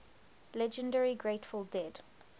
legendary grateful dead